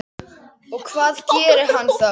Og hvað gerir hann þá?